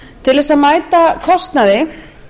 til þess að mæta kostnaði